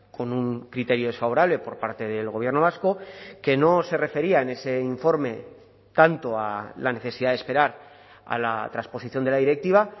con un criterio desfavorable por parte del gobierno vasco que no se refería en ese informe tanto a la necesidad de esperar a la transposición de la directiva